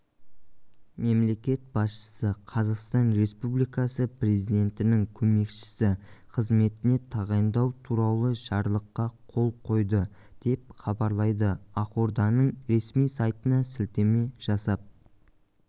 мемлекет басшысы қазақстан республикасы президентінің көмекшісі қызметіне тағайындау туралы жарлыққа қол қойды деп хабарлайды ақорданың ресми сайтына сілтеме жасап